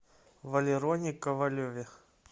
валероне ковалеве